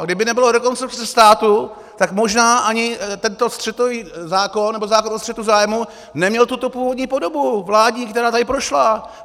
A kdyby nebylo Rekonstrukce státu, tak možná ani tento střetový zákon, nebo zákon o střetu zájmů neměl tuto původní podobu vládní, která tady prošla.